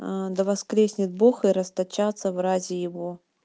а да воскреснет бог и расточатся врази его